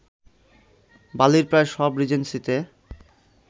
বালির প্রায় সব রিজেন্সিতে